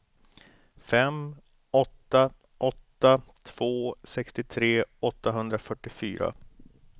fem åtta åtta två sextiotre åttahundrafyrtiofyra